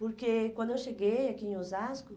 Porque quando eu cheguei aqui em Osasco,